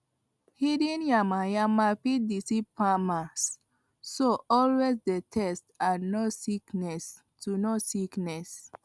hidden yamayama fit deceive farmers so always dey test to know sickness to know sickness